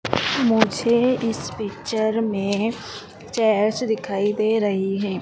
मुझे इस पिक्चर में चेयर्स दिखाई दे रही है।